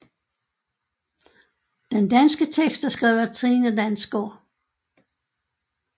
Den danske tekst er skrevet af Trine Dansgaard